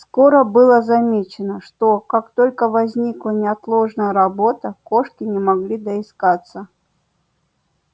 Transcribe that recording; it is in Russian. скоро было замечено что как только возникала неотложная работа кошки не могли доискаться